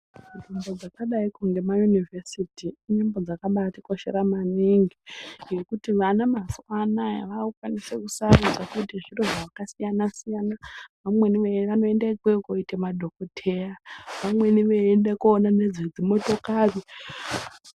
Nzvimbo dzakadai ngemayunivhesiti dzakambatikoshera maningi ngekuti vana mazuva ano aya vakukwanisa kusarudza futi zviro zvakasiyana siyana vamweni vanoinda ikweyo kundoita madhokoteya vamweni veienda kundoona nezve dzimotokari